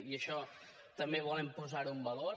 i això també volem posar ho en valor